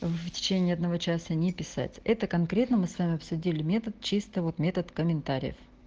в течении одного часа не писать это конкретно мы с вами обсудили метод чисто вот метод комментариев